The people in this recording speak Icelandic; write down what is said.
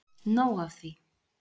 Nóg af því.